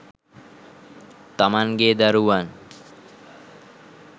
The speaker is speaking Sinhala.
තමන්ගේ දරුවන්